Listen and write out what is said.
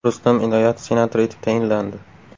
Rustam Inoyatov senator etib tayinlandi.